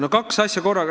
No kaks asja korraga.